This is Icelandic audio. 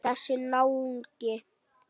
Þessi náungi.